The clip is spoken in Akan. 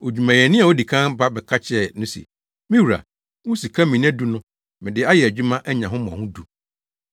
“Odwumayɛni a odii kan ba bɛka kyerɛɛ no se, ‘Me wura, wo sika mina du no, mede ayɛ adwuma anya ho mmɔho du.’